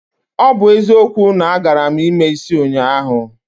O bu ezikwo, na agaram ime isi ụnyahụ